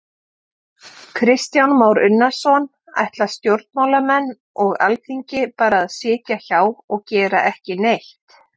Kristján Már Unnarsson: Ætla stjórnmálamenn og Alþingi bara að sitja hjá og gera ekki neitt?